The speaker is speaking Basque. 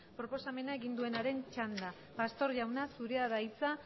proposamena egin duenaren txanda pastor jauna zure da hitza